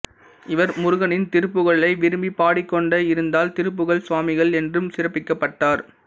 இவர் முருகனின் திருப்புகழை விரும்பிப் பாடிக்கொண்டே இருந்ததால் திருப்புகழ்ச் சுவாமிகள் என்றும் சிறப்பிக்கப்பட்டார்